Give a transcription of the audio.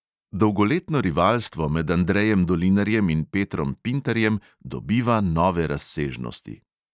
Dolgoletno rivalstvo med andrejem dolinarjem in petrom pintarjem dobiva nove razsežnosti.